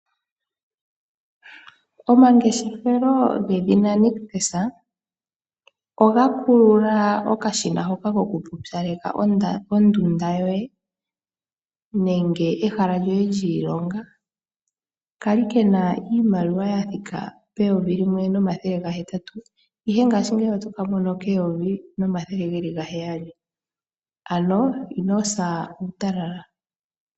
Omangeshefelo gedhina Nictus ogakulula okashina hoka kokupupyaleka ondunda yoye nenge ehala lyoye lyiilonga, kali kena iimaliwa yathika peyovi limwe nomathele gahetatu ihe ngashingeyi otokamono keyovi nomathele geli gaheyali, ano inosa uutalala.